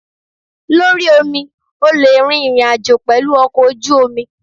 Lórí omi, o le rin ìrìn àjò pẹ̀lú ọkọ̀ ojú omi.